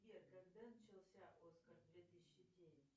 сбер когда начался оскар две тысячи девять